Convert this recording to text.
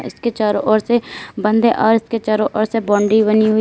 इसके चारों ओर से बंद है और इसके चारों ओर से बाउंड्री बनी हुई है।